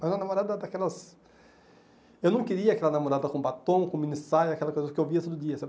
Mas uma namorada daquelas... Eu não queria aquela namorada com batom, com mini saia, aquela coisa que eu via todo dia, sabe?